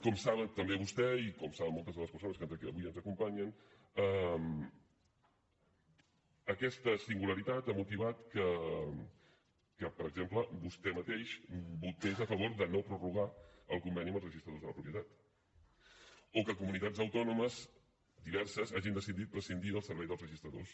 com sap també vostè i com saben moltes de les persones que avui ens acompanyen aquesta singularitat ha motivat que per exemple vostè mateix votés a favor de no prorrogar el conveni amb els registradors de la propietat o que comunitats autònomes diverses hagin decidit prescindir del servei dels registradors